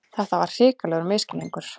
Þetta var hrikalegur misskilningur!